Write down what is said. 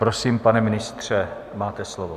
Prosím, pane ministře, máte slovo.